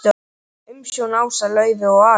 Umsjón Ása Laufey og Ari.